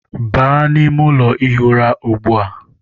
Baa n'ime ụlọ ihi ụra ugbu a!